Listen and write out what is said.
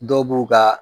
Dɔw b'u ka